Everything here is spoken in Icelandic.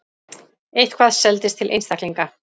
Eitthvað seldist til einstaklinga.